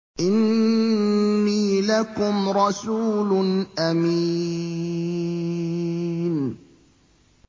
إِنِّي لَكُمْ رَسُولٌ أَمِينٌ